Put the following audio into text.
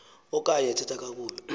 okanye ethetha kakubi